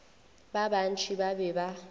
ba bantši ba be ba